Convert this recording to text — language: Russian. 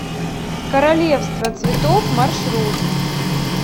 королевство цветов маршрут